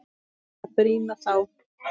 Eða brýna þá!